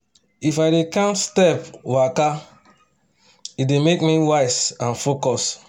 if i dey count step waka e dey make me wise and focus